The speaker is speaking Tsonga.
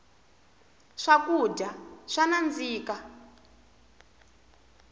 swakudya swa nandzika